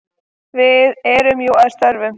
Við erum jú að störfum.